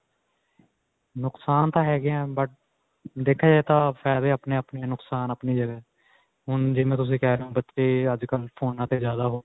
ਨੁਕਸਾਨ ਤਾਂ ਹੈਗੇ ਹੈਂ but ਦੇਖਿਆ ਜਾਏ ਤਾਂ ਫਾਇਦੇ ਆਪਣੇ-ਆਪਣੇ ਨੁਕਸਾਨ ਆਪਣੀ ਜਗ੍ਹਾ. ਹੁਣ ਤੁਸੀਂ ਜਿਵੇਂ ਤੁਸੀਂ ਕਿਹ ਰਹੇ ਹੋ ਬੱਚੇ ਅੱਜਕਲ੍ਹ ਫੋਨਾਂ ਤੇ ਜਿਆਦਾ.